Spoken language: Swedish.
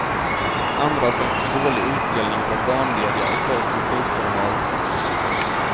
Andra som fick dålig utdelning var barnlediga och folk med sjukfrånvaro.